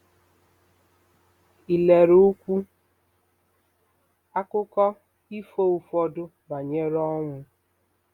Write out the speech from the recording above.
Ilerukwu Akụkọ ifo ụfọdụ Banyere Ọnwụ